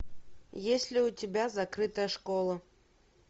есть ли у тебя закрытая школа